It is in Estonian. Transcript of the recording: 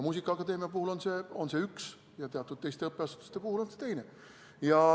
Muusikaakadeemia puhul on see üks ja teatud teiste õppeasutuste puhul on see teine.